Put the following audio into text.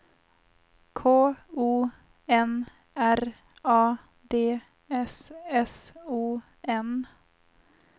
K O N R A D S S O N